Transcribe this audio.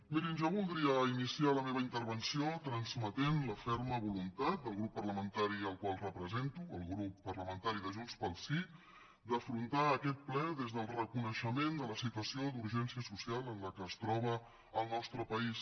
mirin jo voldria iniciar la meva intervenció transmetent la ferma voluntat del grup parlamentari que represento el grup parlamentari de junts pel sí d’afrontar aquest ple des del reconeixement de la situació d’urgència social en què es troba el nostre país